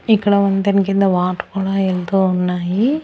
ఇక్కడ వంతెన కింద వాటర్ కూడా ఎళ్తూ ఉన్నాయి.